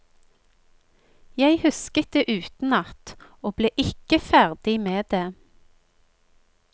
Jeg husket det utenat, og ble ikke ferdig med det.